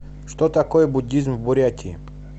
что такое буддизм в бурятии